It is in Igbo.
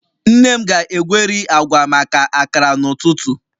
Nne m ga-egweri agwa maka akara n'ụtụtụ